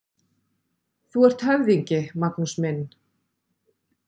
Þú ert höfðingi, Magnús minn!